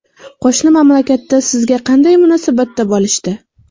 Qo‘shni mamlakatda sizga qanday munosabatda bo‘lishdi?